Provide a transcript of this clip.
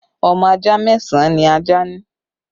Ọmọ ajá mẹ́sàn án ni ajá ní